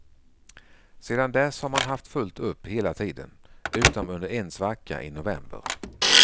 Sedan dess har man haft fullt upp hela tiden, utom under en svacka i november.